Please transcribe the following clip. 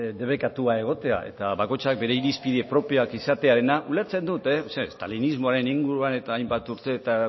debekatua egotea eta bakoitzak bere irizpide propioak izatearena ulertzen dut zeren estalinismoaren inguruan eta hainbat urteetan